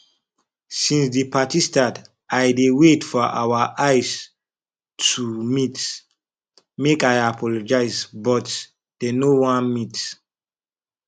since the party start i dey wait for our eye to meet make i apologize but dey no wan meet